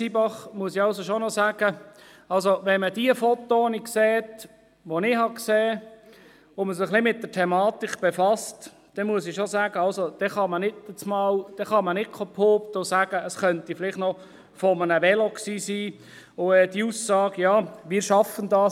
Zybach muss ich schon noch etwas sagen: Wenn man diese Fotos sieht, die ich gesehen habe, und man sich etwas mit der Thematik befasst, dann kann man nicht behaupten, es könnte doch noch von einem Velo gewesen sein, und die Aussage «Ja, wir schaffen das!